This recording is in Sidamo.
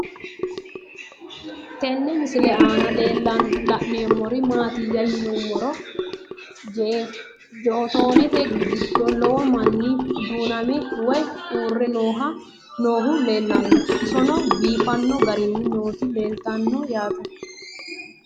Tenne misile aanna la'neemmori maattiya yinummoro jottonette giddo lowo manni duunnamme woyi uure noohu leellanno. Isenno biiffanno garinni nootti leelittanno yaatte